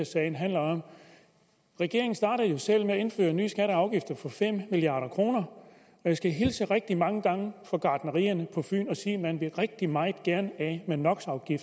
sagen handler om regeringen startede jo selv med at indføre nye skatter og afgifter for fem milliard kr og jeg skal hilse rigtig mange gange fra gartnerierne på fyn og sige at man rigtig meget gerne af med no